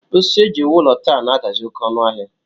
Osisi e ji ewu ụlọ taa na-adazi oké ọnụ ahịa